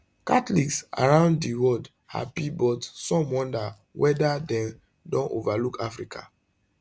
catholics around di world happy but some wonder weda dem don overlook africa